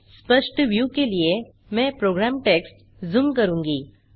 स्पष्ट व्यू के लिए मैं प्रोग्राम टेक्स्ट झूम करूँगा